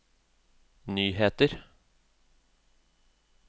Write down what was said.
nyheter